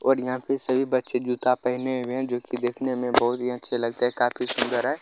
और यहाँ पे सभी बच्चे जूता पहने हुए है जो की देखने में बहुत ही अच्छे लगते है काफी सुन्दर है।